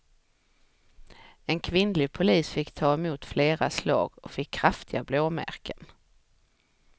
En kvinnlig polis fick ta emot flera slag och fick kraftiga blåmärken.